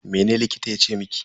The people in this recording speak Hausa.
Mene likitan yace miki?